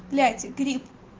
блять грипп